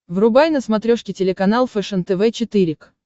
врубай на смотрешке телеканал фэшен тв четыре к